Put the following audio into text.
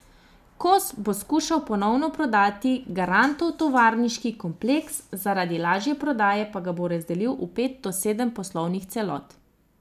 Kos bo skušal ponovno prodati Garantov tovarniški kompleks, zaradi lažje prodaje pa ga bo razdelil v pet do sedem poslovnih celot.